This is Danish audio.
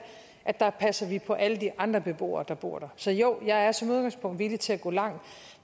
at passe på alle de andre beboere der bor der så jo jeg er som udgangspunkt villig til at gå langt